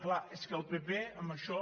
clar és que el pp amb això